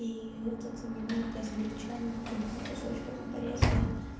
ии этот мелко измельчённый там кусочками порезанный